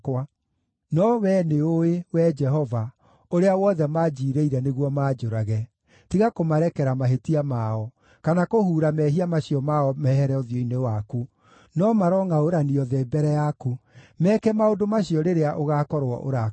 No wee nĩũũĩ, Wee Jehova, ũrĩa wothe manjiirĩire nĩguo manjũrage. Tiga kũmarekera mahĩtia mao, kana kũhuura mehia macio mao mehere ũthiũ-inĩ waku. No marongʼaũranĩrio thĩ mbere yaku; meeke maũndũ macio rĩrĩa ũgaakorwo ũrakarĩte.